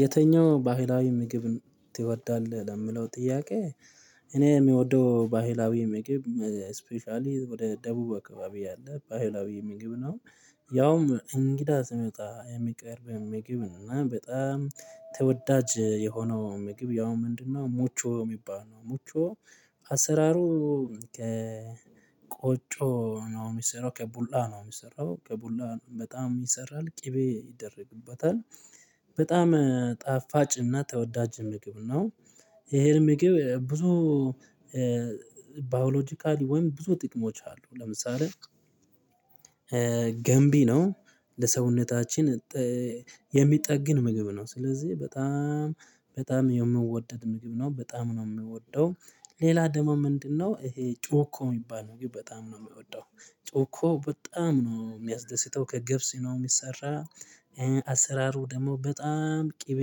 የትኛው ባህላዊ ምግብ ትወዳለህ ለሚለው ጥያቄ እኔ የምወደው ባህላዊ ምግብ ስፔሻሊ ወደ ደቡብ አካባቢ ያለ ባህላዊ ምግብ ነው ያውም እንግዳ ሲመጣ የሚቀርብ ምግብና በጣም ተወዳጅ የሆነው ምግብ ያው ምንድነው ሞቾ የሚባል ነው። ሞቾ አሰራሩ ከቆጮ ነው የሚሰራው ከቡላ ነው የሚሰራው ከቡላ በጣም ይሰራል ቅቤ ይደረግበታል በጣም ጣፋጭና ተወዳጅ ምግብ ነው። ይሄን ምግብ ብዙ ባዮሎጂካሊ ወይም ብዙ ጥቅሞች አሉ። ለምሳሌ ገንቢ ነው ለሰውነታችን የሚጠግን ምግብ ነው። ስለዚህ በጣም በጣም የሚወደድ ምግብ ነው። በጣም ነው የምወደው። ሌላ ደግሞ ምንድነው ይሄ ጮኮ የሚባል ምግብ በጣም ነው የምወደው። ጮኮ በጣም ነው የሚያስደስተው ከገብስ ነው የሚሰራው አሰራሩ ደግሞ በጣም ቅቤ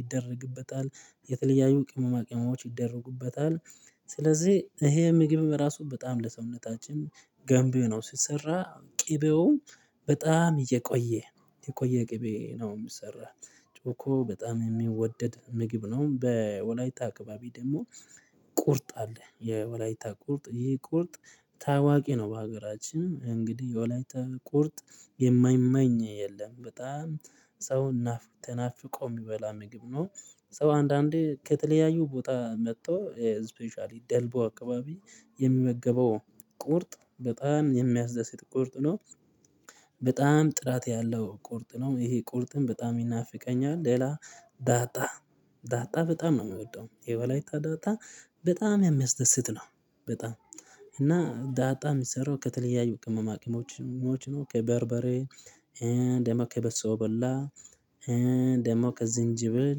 ይደረግበታል የተለያዩ ቅመማ ቅመሞች ይደረጉበታል ስለዚህ ይሄ ምግብ ራሱ በጣም ለሰውነታችን ገንቢ ነው። ሲሰራ ቅቤውም በጣም እየቆየ የቆየ ቅቤ ነው የሚሰራ። ጮኮ በጣም የሚወደድ ምግብ ነው። በወላይታ አካባቢ ደግሞ ቁርጥ አለ። የወላይታ ቁርጥ ይሄ ቁርጥ ታዋቂ ነው በሀገራችን እንግዲህ የወላይታ ቁርጥ የማይማኝ የለም በጣም ሰው ተናፍቆ የሚበላ ምግብ ነው። ሰው አንዳንዴ ከተለያዩ ቦታ መጥቶ ስፔሻሊ ደልቦ አካባቢ የሚመገበው ቁርጥ በጣም የሚያስደስት ቁርጥ ነው። በጣም ጥራት ያለው ቁርጥ ነው። ይሄ ቁርጥም በጣም ይናፍቀኛል። ሌላ ዳጣ በጣም ነው የምወደው። የዎላይታ ዳጣ በጣም የሚያስደስት ነው በጣም። እና ዳጣ የሚሰራው ከተለያዩ ቅመማ ቅመሞች ነው። ከበርበሬ ደማ ከበሶ በላ ደሞ ከዝንጅብል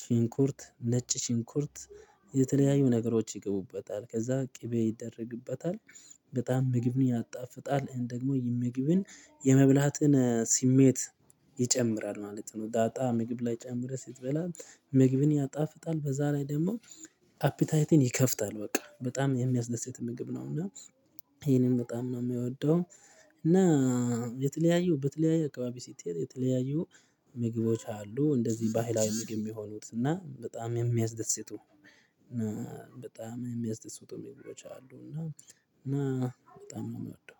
ሽንኩርት ነጭ ሽንኩርት የተለያዩ ነገሮች ይገቡበታል። ከዛ ቅቤ ይደረግበታል። በጣም ምግብን ያጣፍጣል። ደግሞ የምግብን የመብላትን ስሜት ይጨምራል ማለት ነው። ዳጣ ምግብ ላይ ጨምረህ ስትበላ ምግብን ያጣፍጣል በዛ ላይ ደግሞ አፕታይትን ይከፍታል በቃ። በጣም የሚያስደስት ምግብ ነው። እና ይሄንን በጣም ነው የምወደው እና የተለያዩ በተለያዩ አከባቢ ስትሄድ የተለያዩ ምግቦች አሉ። እንደዚህ ባህላዊ ምግብ የሚሆኑት እና በጣም ነው የሚያስደስቱ እና በጣም የሚያስደስቱ ምግቦች አሉ እና እና በጣም ነው የምወደው።